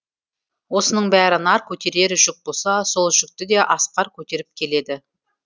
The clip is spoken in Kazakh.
осының бәрі нар көтерер жүк болса сол жүкті де асқар көтеріп келеді